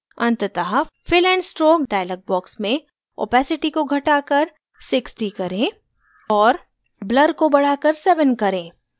अंततः fill and stroke dialog box में opacity को घटाकर 60 करें और blur को बढ़ाकर 7 करें